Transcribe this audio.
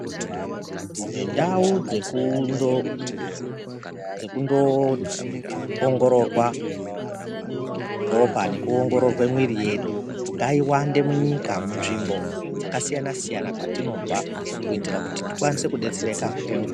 Ndau dzeku ndoongororwa ropa nekuongororwa mwiri yedu ngaiwande munyika, munzvimbo dzakasiyana siyana kwatinobva kuitire kuti tikwanise kudetsereka ngenguwa .